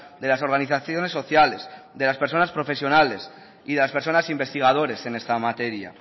de las organizaciones sociales de las personas profesionales y de las personas investigadores en esta materia